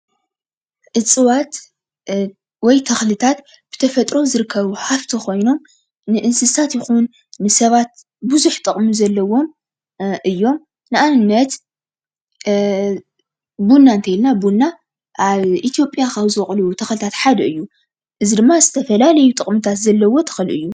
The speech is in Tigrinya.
እፅዋት ወይ ተኽልታት ብተፈጥሮ ዝርከቡ ሃፍቲ ኾይኖም ንእንስሳት ይኹን ንሰባት ብዙሕ ጥቅሚ ዘለዎም እዮም። ንኣብነት ቡና እንተይልና ቡና ኣብ ኢትዮጵያ ካብ ዝቦቕሉ ተኽልታት ሓደ እዩ። እዚ ድማ ዝተፈላለዩ ጥቅምታት ዘለዎ ተኽሊ እዩ።